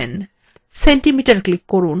centimeter click করুন